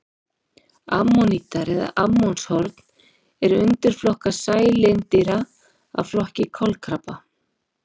Ammonítar eða ammonshorn er undirflokkur sælindýra af flokki kolkrabba.